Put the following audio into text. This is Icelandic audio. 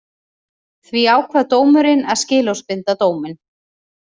Því ákvað dómurinn að skilorðsbinda dóminn